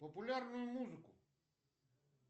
популярную музыку